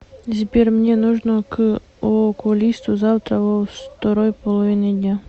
сбер мне нужно к окулисту завтра во второй половине дня